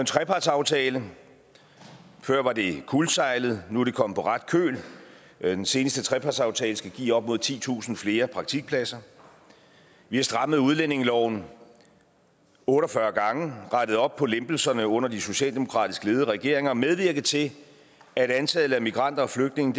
trepartsaftale før var det kuldsejlet nu er det kommet på ret køl den seneste trepartsaftale skal give op mod titusind flere praktikpladser vi har strammet udlændingeloven otte og fyrre gange rettet op på lempelserne under de socialdemokratisk ledede regeringer har medvirket til at antallet af migranter og flygtninge